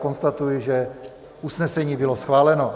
Konstatuji, že usnesení bylo schváleno.